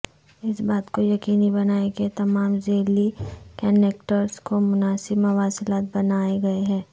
اس بات کو یقینی بنائیں کہ تمام ذیلی کنیکٹرز کو مناسب مواصلات بنائے گئے ہیں